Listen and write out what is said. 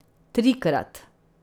Trikrat.